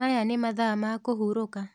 Maya nĩ mathaa ma kũhurũka.